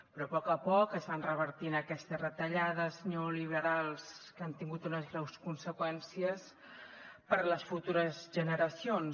però a poc a poc es van revertint aquestes retallades neoliberals que han tingut unes greus conseqüències per a les futures generacions